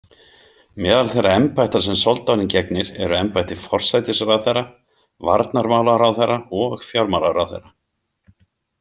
Meðal þeirra embætta sem soldáninn gegnir eru embætti forsætisráðherra, varnarmálaráðherra og fjármálaráðherra.